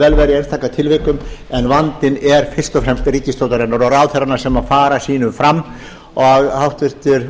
vera í einstaka tilvikum en vandinn er fyrst og fremst ríkisstjórnarinnar og ráðherranna sem fara sínu fram og háttvirtur